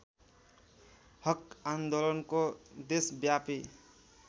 हक आन्दोलनको देशव्यापी